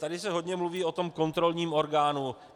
Tady se hodně mluví o tom kontrolním orgánu.